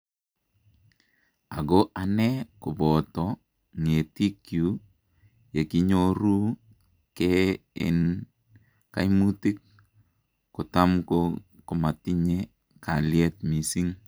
"Ako anee kobotoo ng'eetiikyuk yekinyooruu kee en kaimuutik , kotamko komatinye kalyet missing .